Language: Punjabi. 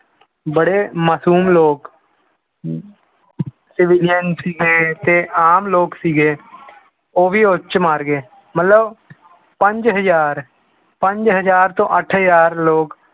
ਬੜੇ ਮਾਸੂਮ ਲੋਕ civilian ਸੀਗੇ ਤੇ ਆਮ ਲੋਕ ਸੀਗੇ ਉਹ ਵੀ ਉਹ 'ਚ ਮਰ ਗਏ ਮਤਲਬ ਪੰਜ ਹਜ਼ਾਰ ਪੰਜ ਹਜ਼ਾਰ ਤੋਂ ਅੱਠ ਹਜ਼ਾਰ ਲੋਕ